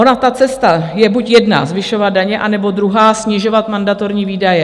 Ona ta cesta je buď jedna, zvyšovat daně, nebo druhá, snižovat mandatorní výdaje.